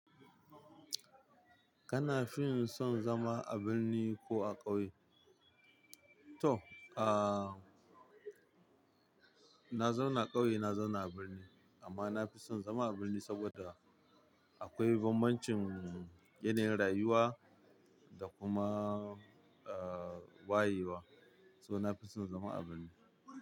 Kana fin son zama a birni ko a ƙauye? To, aa na zauna ƙauye na zauna a birni amma nafi son zama a birni saboda akwai bambancin yanayin rayuwa da kuma, eh wayewa. So nafi son zama a birni.